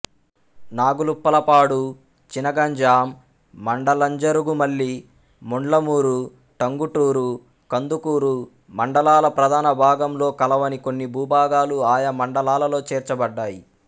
నాగులుప్పలపాడు చినగంజాం మండలంజరుగుమల్లి ముండ్లమూరు టంగుటూరు కందుకూరు మండలాల ప్రధాన భాగంలో కలవని కొన్ని భూభాగాలు ఆయా మండలాలలో చేర్చబడ్డాయి